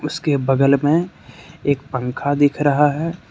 उसके बगल में एक पंखा दिख रहा है।